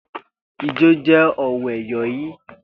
Ijo je o we yon i.